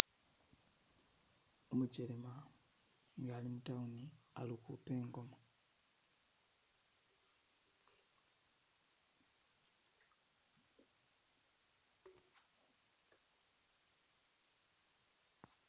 Umukelema nga ali mu town ali ukhupa ingoma.